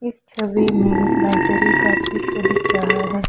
इस छवि में एक लाइब्रेरी का दृश्य दिख रहा है।